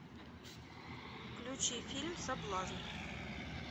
включи фильм соблазн